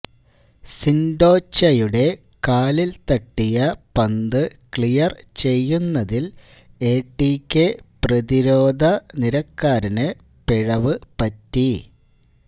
സിന്ഡോച്ചയുടെ കാലില് തട്ടിയ പന്ത് ക്ലിയര് ചെയ്യുന്നതില് എ ടി ക്കെ പ്രതിരോധനിരക്കാരന്് പിഴവ് പറ്റി